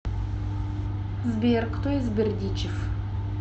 сбер кто из бердичев